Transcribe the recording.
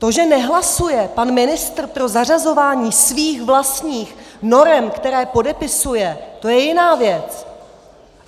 To, že nehlasuje pan ministr pro zařazování svých vlastních norem, které podepisuje, to je jiná věc.